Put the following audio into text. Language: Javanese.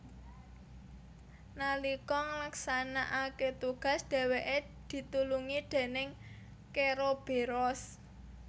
Nalika nglaksanakake tugas dheweke ditulungi déning keroberos